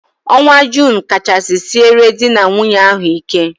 Ọnwa Junu kachasị siere dị na nwunye ahụ ike.